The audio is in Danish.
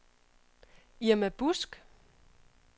Irma Busk